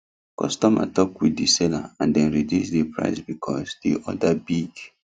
customer talk with the seller and dem reduce the price because the order big